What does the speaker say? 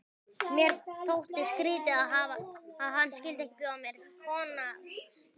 Mér þótti skrýtið, að hann skyldi ekki bjóða mér koníaksstaup.